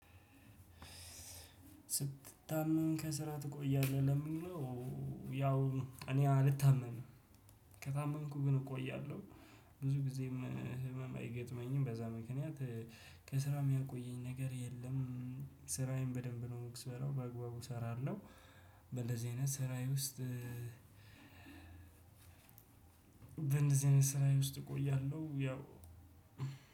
ስትታመም ከስራ ትቆያለህ? ለሚለው ያው እኔ አልታመምም ከታመምኩ ግን እቆያለሁ ብዙ ጊዜም ህመም አይገጥመኝም በዛ ምክንያት ከስራ የሚያቆየኝ ነገር የለም ስራዬን በደንብ ነው ምሰራው በአግባቡ እሰራለሁ በእደዚህ በአይነት ስራዬ ውስጥ በእንደዚህ አይነት ስራዬ ውስጥ እቆያለሁ ያው